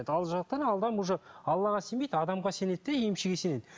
уже аллаға сенбейді адамға сенеді де емшіге сенеді